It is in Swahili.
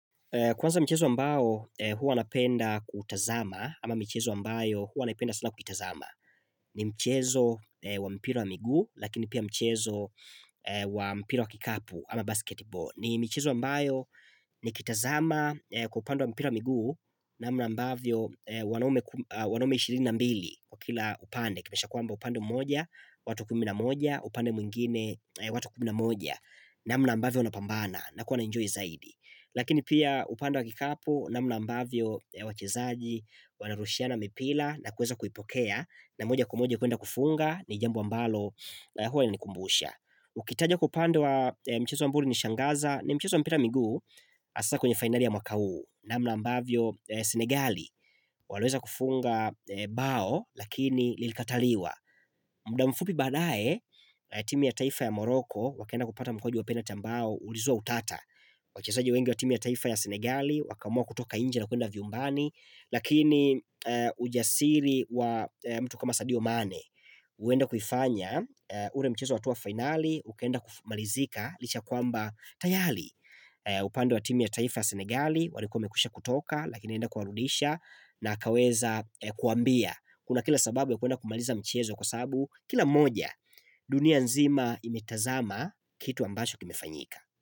Kwanza mchezo ambao huwa napenda kuutazama ama michezo ambayo huwa wanapenda sana kuitazama. Ni mchezo wa mpira wa miguu lakini pia mchezo wa mpira wa kikapu ama basketball. Ni michezo ambayo nikitazama kwa upande wa mpira wa miguu namna ambavyo wanaume ishirini na mbili kwa kila upande. Kisha kwamba upande mmoja, watu kumi na moja, upande mwingine, watu kumi na moja namna ambavyo unapambana nakuwa na enjoy zaidi. Lakini pia upande wa kikapu namna ambavyo wachezaji wanarushiana mipira na kuweza kuipokea na moja kwa moja kuenda kufunga ni jambo ambalo huwa lanikumbusha. Ukitaja kupanda wa mchezo ambao uliniShangaza ni mchezo wa mpira wa miguu hasaa kwenye finali ya mwaka huu namna ambavyo Senegali waliweza kufunga bao lakini lilikataliwa. Muda mfupi baadae, timu ya taifa ya morocco, wakaenda kupata mkondo wa penalty ambao ulizua utata wachezaji wengi wa timu ya taifa ya Senegali, wakaamua kutoka nje na kuenda vyumbani Lakini ujasiri wa mtu kama sadio mane, huenda kufanya, ule mchezo wa hatua finali, ukaenda kumalizika, licha kwamba tayari upande wa timu ya taifa ya Senegali, walikuwa wamekwisha kutoka, lakini anaenda kuwarudisha na akaweza kuambia Kuna kila sababu ya kuenda kumaliza mchezo kwa sabu Kila mmoja, dunia nzima imetazama kitu ambacho kimefanyika.